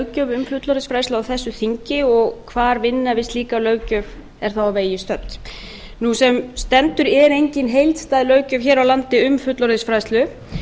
um fullorðinsfræðslu á þessu þingi og hvar vinna við slíka löggjöf er þá á vegi stödd sem stendur er engin heildstæð löggjöf hér á landi um fullorðinsfræðslu